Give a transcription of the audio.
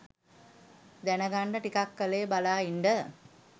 දැනගන්ඩ ටිකක් කල් බලා ඉන්ඩ